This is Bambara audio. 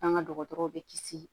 An ka dɔgɔtɔrɔw bɛ kisi